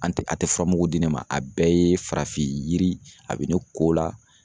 An te a tɛ furamugu di ne ma . A bɛɛ ye farafin yiri , a be ne ko o la.